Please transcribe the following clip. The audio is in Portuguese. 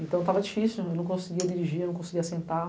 Então tava difícil, eu não conseguia dirigir, eu não conseguia sentar.